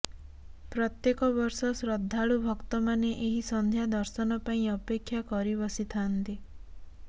ପ୍ରତ୍ୟେକ ବର୍ଷ ଶ୍ରଦ୍ଧାଳୁ ଭକ୍ତମାନେ ଏହି ସଂନ୍ଧ୍ୟା ଦର୍ଶନ ପାଇଁ ଅପେକ୍ଷା କରି ବସିଥାନ୍ତି